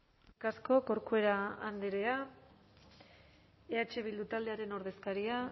eskerrik asko corcuera andrea eh bildu taldearen ordezkaria